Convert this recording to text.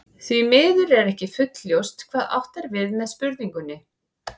Því miður er ekki fullljóst hvað átt er við með spurningunni.